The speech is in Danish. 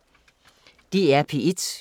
DR P1